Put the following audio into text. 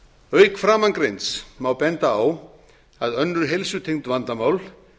auk framangreinds má benda á að önnur heilsutengd vandamál